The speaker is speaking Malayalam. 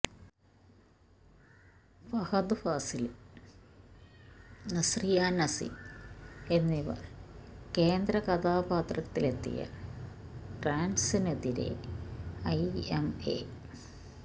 ഫഹദ് ഫാസില് നസ്രിയ നസീം എന്നിവര് കേന്ദ്ര കഥാപാത്രത്തില് എത്തിയ ട്രാന്സിനെതിരെ ഐഎംഎ